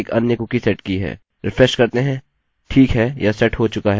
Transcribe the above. refresh करते हैंठीक है यह सेट हो चुका है